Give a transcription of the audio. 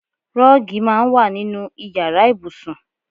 Rọ́ọ́gì máa ń wà nínú ìyára ibùsùn.